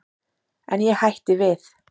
En ég hætti við.